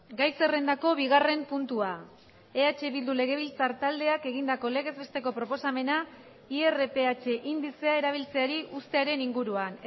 gai zerrendako bigarren puntua eh bildu legebiltzar taldeak egindako legez besteko proposamena irph indizea erabiltzeari uztearen inguruan